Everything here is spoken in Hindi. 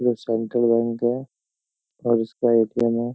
जो सेंट्रल बैंक है और इसका एटीएम है।